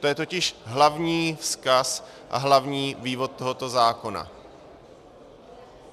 To je totiž hlavní vzkaz a hlavní vývod tohoto zákona.